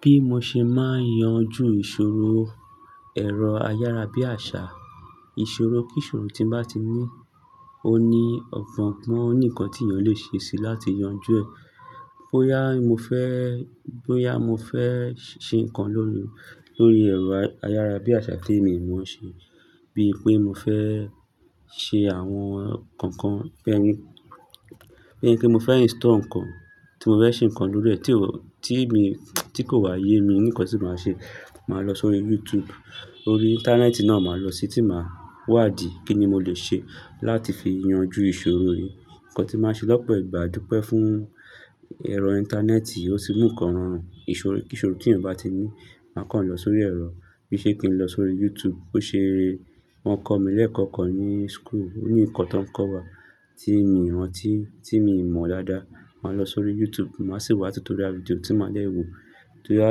Bí mo ṣe máa ń yanjú ìṣòro, ẹ̀rọ ayárabíàṣá, ìṣòro kíṣòro tí n bá ti ní, ó ní ọ̀pọ̀ nǹkan tí èèyàn lè ṣe láti yanjú ẹ̀. Bóyá mo fẹ́, bóyá mo fẹ́ ṣe nǹkan lórí, lórí ẹ̀rọ ayárabíàṣà tí èmi mọ ṣe, bíi pé mo fẹ́ ṣe àwọn nǹkan kan pẹ́ ẹni pẹ́ mo fẹ́ install nǹkan, tí mo fẹ́ ṣe nǹkan lórí rẹ̀ tí o, tí mi, tí kò wáyé mi ní nkán tí máa ṣe. Màá lọ sórí youtube, orí íńtánẹ́ẹ̀tì náà màá lọsí tí màá wá ìdí, kíni mo lè ṣe láti fi yanjú ìṣòro yìí. Ǹkan tí màá ṣe lọ́pọ̀ ìgbà dúpẹ́ fún ẹ̀rọ íńtánẹ́ẹ̀tì, ó ti mú nǹkan rọrùn, ìṣòro kíṣọ rò tí èèyàn bá ti ní. Màá kàn lọ sórí ẹ̀rọ, bí i ṣe kí n lọ sórí YouTube. Ó ṣe rere, wọ́n kọ́ mi lẹ́ẹ̀kọ́kọ́ ní school, ó ní nǹkan tó ń kọ́ wa tí mi rántí, tí mi mọ̀ dáadáa. Màá lọ sórí YouTube, màá sì wá tutorial video tí màá lẹ́ẹ̀ wò tó yá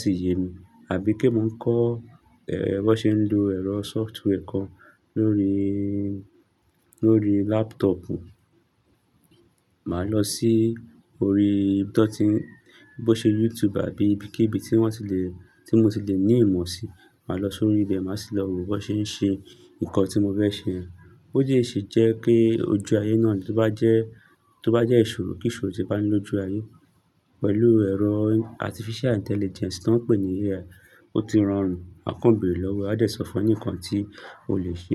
sì yé mi. Àbí pé mo ń kọ́, ẹ́, bó ṣe ń lo ẹ̀rọ software kan lórí, lórí laptopù. Màá lọ sí orí tan tí n, bó ṣe YouTube àbí ibikíbi tí wọ́n ti lè, tí mo ti lè ní ìmọ̀ sí. Màá lọ sórí ilé, màá sì lọ wo bó ṣe ń ṣe nǹkan tí mo fẹ́ ṣe. Ó sì lè ṣe jẹ́ kí ojú ayé náà tó bá jẹ́, tó bá jẹ́ ìṣòro kíṣọ rò tí bá ní lójú ayé pẹ̀lú ẹ̀rọ artificial intelligence tó ń pè ní AI. Ó ti rọrùn ákàn bèèrè lọ́wọ́ ẹ̀, a dẹ̀ sọ fún ẹ ní ǹkan tí o lè ṣe.